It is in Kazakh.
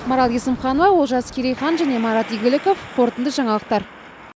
ақмарал есімханова олжас керейхан және марат игіліков қорытынды жаңалықтар